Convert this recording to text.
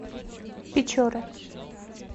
печоры